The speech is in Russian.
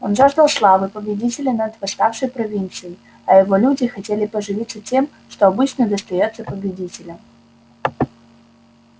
он жаждал славы победителя над восставшей провинцией а его люди хотели поживиться тем что обычно достаётся победителям